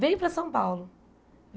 Vem para São Paulo.